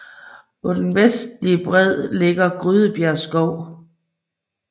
På den nordvestlige bred ligger Grydebjerg Skov